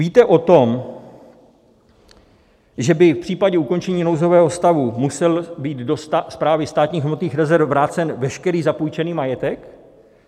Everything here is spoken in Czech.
Víte o tom, že by v případě ukončení nouzového stavu musel být do Správy státních hmotných rezerv vrácen veškerý zapůjčený majetek?